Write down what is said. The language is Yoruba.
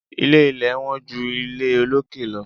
Ilé ilẹ̀ wọ́n ju ilé olókè lọ.